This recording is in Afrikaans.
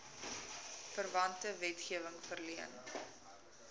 verwante wetgewing verleen